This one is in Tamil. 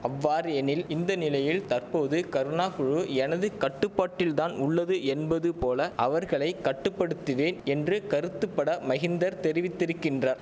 அவ்வாற் எனில் இந்த நிலையில் தற்போது கருணா குழு எனது கட்டுப்பாட்டில்தான் உள்ளது என்பது போல அவர்களை கட்டுப்படுத்துவே என்ற கருத்துப்பட மகிந்தர் தெரிவித்திருக்கின்றார்